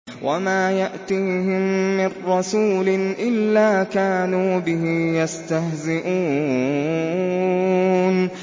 وَمَا يَأْتِيهِم مِّن رَّسُولٍ إِلَّا كَانُوا بِهِ يَسْتَهْزِئُونَ